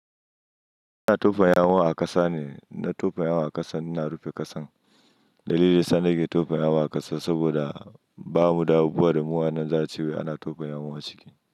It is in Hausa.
Ana tofa yawun a ƙasa ne. Na tofa yawun a ƙasa, ina rufe ƙasan. Dalili da yasa na ke tofa yawan a ƙasa saboda bamu da abubuwa da mu anan za'a ce ana tofa yawan a ciki.